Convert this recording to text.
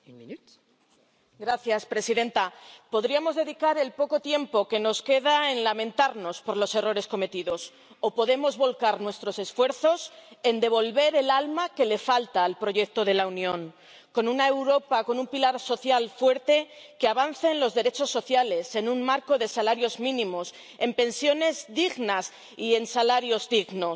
Señora presidenta, podríamos dedicar el poco tiempo que nos queda en lamentarnos por los errores cometidos o podemos volcar nuestros esfuerzos en devolver el alma que le falta al proyecto de la Unión, con una Europa, con un pilar social fuerte que avance en los derechos sociales, en un marco de salarios mínimos, en pensiones dignas y en salarios dignos